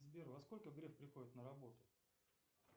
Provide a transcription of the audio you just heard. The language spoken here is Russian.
сбер во сколько греф приходит на работу